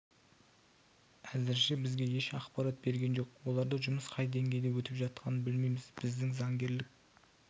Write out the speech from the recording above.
әзірше бізге еш ақпарат берген жоқ оларда жұмыс қай деңгейде өтіп жатқанын білмейміз біздің заңгерлік